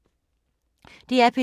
DR P2